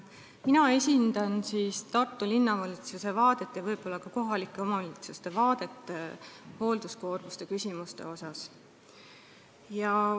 Mina esindan Tartu Linnavalitsuse vaadet ja võib-olla ka kohalike omavalitsuste vaadet hoolduskoormuse küsimusele.